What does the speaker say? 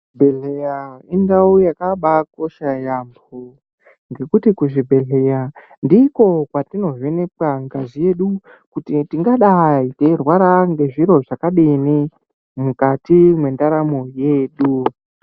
Chibhedhleya indau yakabakosha yaamho ngekuti kuchibhedhleya ndiko hwatinovhenekwa ngazi yedu. Kuti tingadai teirwara nezviro zvakadini mukati mwendaramo yedu.